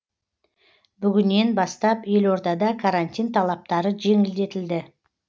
бүгінен бастап елордада карантин талаптары жеңілдетілді